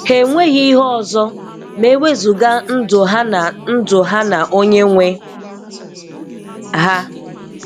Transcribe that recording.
Ha enweghị ihe ọzọ ma e wezụga ndụ ha na ndụ ha na Onyenwe ha.